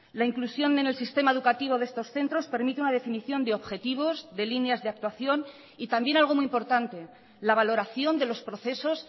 la inclusión en el sistema educativo de estos centros permite una definición de objetivos de líneas de actuación y también algo muy importante la valoración de los procesos